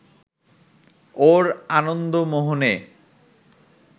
ওর আনন্দমোহনে